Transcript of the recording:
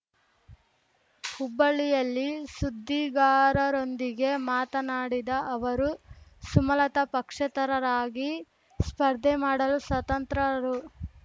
ಹುಬ್ಬಳ್ಳಿಯಲ್ಲಿ ಸುದ್ದಿಗಾರರೊಂದಿಗೆ ಮಾತನಾಡಿದ ಅವರು ಸುಮಲತ ಪಕ್ಷೇತರರಾಗಿ ಸ್ಪರ್ಧೆ ಮಾಡಲು ಸ್ವತಂತ್ರರು